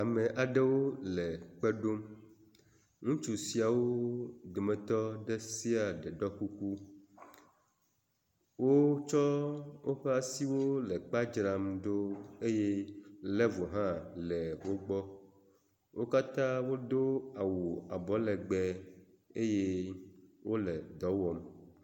Ame aɖewo le kpe ɖom. Ŋutsu siawo dometɔ ɖe sia ɖe ɖɔ kuku. Wotsɔ woƒe asiwo le kpea dzram ɖo eye level hã le wo gbɔ. Wo katã wodo awu abɔlegbe eye wo le dɔ wɔm.